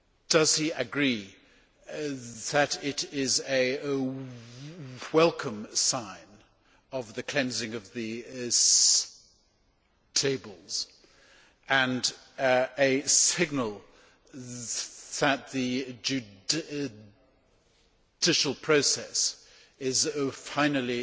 Does he agree that it is a welcome sign of the cleansing of the stables and a signal that the judicial process is finally